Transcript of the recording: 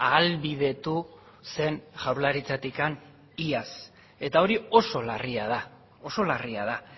ahalbidetu zen jaurlaritzatik iaz eta hori oso larria da oso larria da